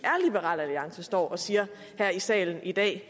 er liberal alliance står og siger her i salen i dag